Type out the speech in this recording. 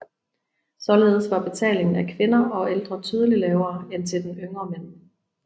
Således var betalingen af kvinder og ældre tydeligt lavere end den til yngre mænd